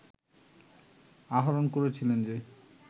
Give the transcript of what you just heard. আহরণ করেছিলেন যে